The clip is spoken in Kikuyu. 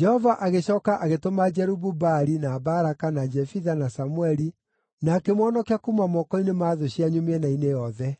Jehova agĩcooka agĩtũma Jerubu-Baali, na Baraka, na Jefitha, na Samũeli, na akĩmũhonokia kuuma moko-inĩ ma thũ cianyu mĩena-inĩ yothe;